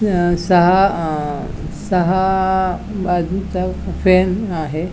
ज्ञ सहा अ सहा आ बाजुचा फॅन आहे.